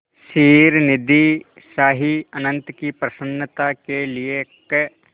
क्षीरनिधिशायी अनंत की प्रसन्नता के लिए क्